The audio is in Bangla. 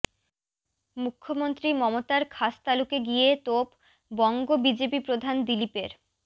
মুখ্যমন্ত্রী মমতার খাসতালুকে গিয়ে তোপ বঙ্গ বিজেপি প্রধান দিলীপের